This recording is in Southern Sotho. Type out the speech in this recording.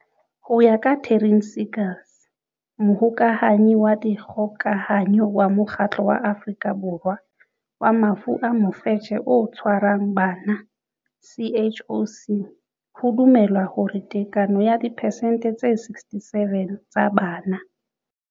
Ho ya ka Taryn Seegers, Mohokahanyi wa Dikgokahanyo wa Mokgatlo wa Afrika Borwa wa Mafu a Mofetshe o Tshwarang Bana, CHOC, ho dumelwa hore tekano ya diphesente tse 67 tsa bana.